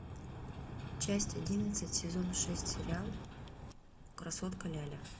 часть одиннадцать сезон шесть сериал красотка ляля